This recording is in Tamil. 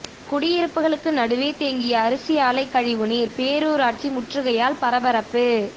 குடியிருப்புகளுக்கு நடுவே தேங்கிய அரிசி ஆலை கழிவுநீர் பேரூராட்சி முற்றுகையால் பரபரப்பு